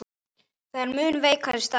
Það er mun veikari staða.